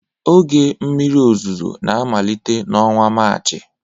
Oge mmiri ozuzo na-amalite n'ọnwa Maachị